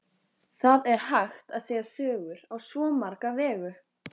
Það er hægt að segja sögur á svo marga vegu.